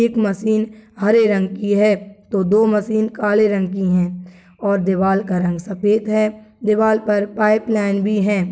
एक मशीन हरे रंग की है तो दो मशीन काले रंग की है और दीवाल का रंग सफ़ेद है दीवाल पर पाइप लाइन भी है।